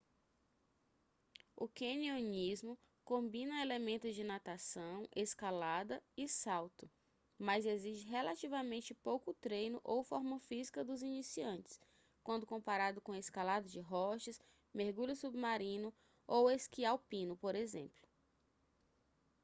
o canionismo combina elementos de natação escalada e salto - mas exige relativamente pouco treino ou forma física dos iniciantes quando comparado com escalada de rochas mergulho submarino ou esqui alpino por exemplo